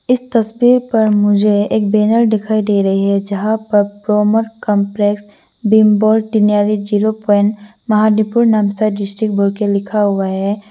इस तस्वीर पर मुझे एक बैनर दिखाई दे रही है जहां पर कॉम्प्लेक्स बिम्बोर जीरो प्वाइंट डिस्ट्रिक्ट बोर के लिखा हुआ है।